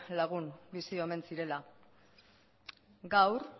lagun bizi omen zirela gaur